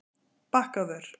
Bakkavör